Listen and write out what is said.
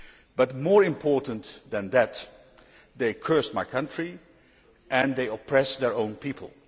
But, more importantly than that, they cursed my country and they oppress their own people.